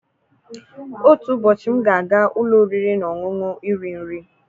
Otu ụbọchị m ga-aga ụlọ oriri na ọṅụṅụ iri nri